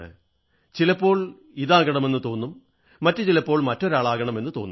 ചിലപ്പോൾ ഇതാകണമെന്നുതോന്നും മറ്റു ചിലപ്പോൾ മറ്റൊരാളാകണമെന്നു തോന്നും